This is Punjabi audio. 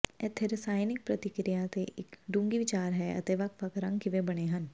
ਇੱਥੇ ਰਸਾਇਣਕ ਪ੍ਰਤੀਕ੍ਰਿਆ ਤੇ ਇੱਕ ਡੂੰਘੀ ਵਿਚਾਰ ਹੈ ਅਤੇ ਵੱਖ ਵੱਖ ਰੰਗ ਕਿਵੇਂ ਬਣੇ ਹਨ